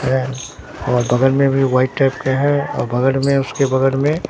हैं और बगल में व्हाइट टाइप का है और बगड में उसके बगड में।